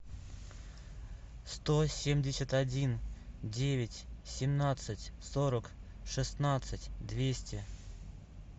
сто семьдесят один девять семнадцать сорок шестнадцать двести